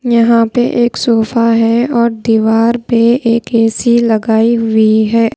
यहाँ पे एक सोफा है और दीवार पे एक ए_सी लगाई हुई है।